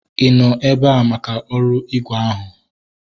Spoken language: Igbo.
I nọ ebea maka ọrụ ígwè ahụ?